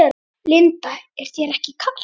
Linda: Er þér ekki kalt?